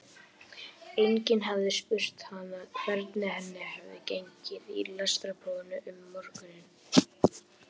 Enginn hafði spurt hana hvernig henni hefði gengið í lestrarprófinu um morguninn.